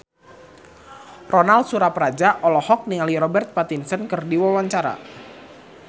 Ronal Surapradja olohok ningali Robert Pattinson keur diwawancara